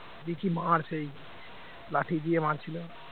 দিয়ে কি মার সেই লাঠি দিয়ে মারছিল